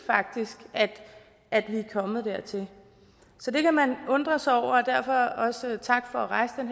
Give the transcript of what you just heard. at vi er kommet dertil så det kan man undre sig over og derfor også tak for at rejse den